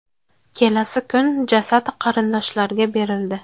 Kelasi kun jasad qarindoshlarga berildi.